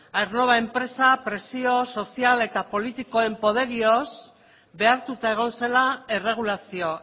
aernnova enpresa presio sozial eta politikoen poderioz behartuta egon zela erregulazio